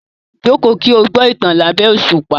Jókòó kí o gbọ́ ìtàn lábẹ́ òṣùpá.